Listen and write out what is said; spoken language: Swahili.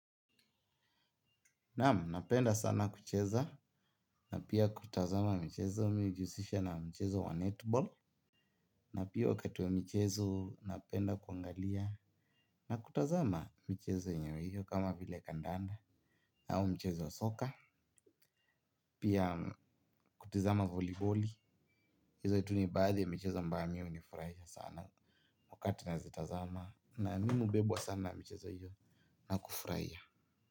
Naam, napenda sana kucheza na pia kutazama michezo, mimi hujihusisha na mchezo wa netiboli. Na pia wakati wa mchezo napenda kuangalia na kutazama mchezo hiyo hiyo kama vile kandanda au mchezo wa soka, pia kutizama mpira wa wavu, hizo tu ni baadhi ya michezo ambayo mimi huifurahia sana wakati nazitazama na mimi hubebwa sana na michezo hiyo na kufurahia.